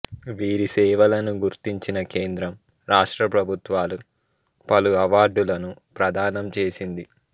వీరి సేవలను గుర్తించిన కేంద్ర రాష్ట్ర ప్రభుత్వాలు పలు అవార్డులను ప్రదానం చేసింది